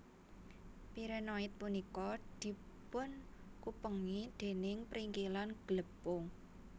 Pirenoid punika dipunkupengi dèning pringkilan glepung